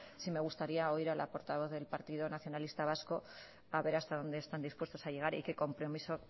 sí me gustaría oír a la portavoz del partido nacionalista vasco a ver hasta dónde están dispuestos a llegar y qué compromiso